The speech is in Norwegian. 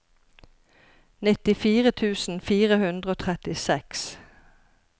nittifire tusen fire hundre og trettiseks